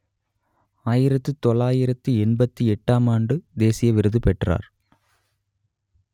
ஆயிரத்து தொள்ளாயிரத்து எண்பத்தி எட்டாம் ஆண்டு தேசிய விருது பெற்றார்